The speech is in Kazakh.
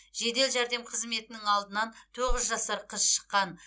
жедел жәрдем қызметінің алдынан тоғыз жасар қыз шыққан